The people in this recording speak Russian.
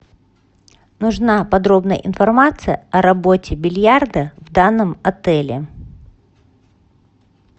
нужна подробная информация о работе бильярда в данном отеле